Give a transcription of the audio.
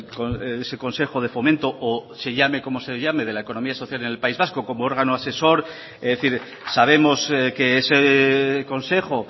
con ese consejo de fomento o se llame como se llame de la economía social en el país vasco como órgano asesor es decir sabemos que ese consejo